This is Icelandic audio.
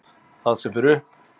Það sem fer upp.